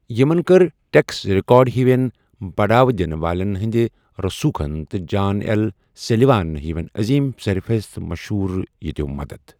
یِمن کٔر tax record ہِویٚن بَڑاوٕ دِنہٕ والیٚن ہِنٛدِ رٔسوٗخن تہٕ جان ایٚل سُلیوان ہِویٚن عٔظیٖم سرفرست مشہوٗرِیَتو مدد۔